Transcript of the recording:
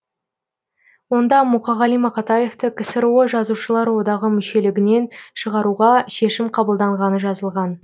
онда мұқағали мақатаевты ксро жазушылар одағы мүшелігінен шығаруға шешім қабылданғаны жазылған